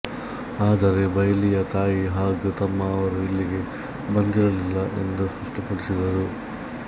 ಆದರೆ ಬೈಲಿಯ ತಾಯಿ ಹಾಗು ತಮ್ಮ ಅವರು ಇಲ್ಲಿಗೆ ಬಂದಿರಲಿಲ್ಲ ಎಂದು ಸ್ಪಷ್ಟಪಡಿಸಿದರು